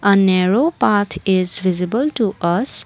a narrow path is visible to us.